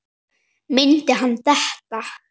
Myndi hann detta?